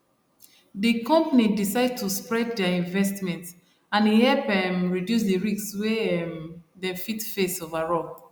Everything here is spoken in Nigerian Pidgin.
de company decide to spread their investment and e help um reduce the risk wey um dem fit face overall